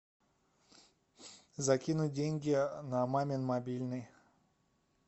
закинуть деньги на мамин мобильный